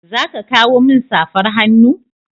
Za ka kawo min safar hannu?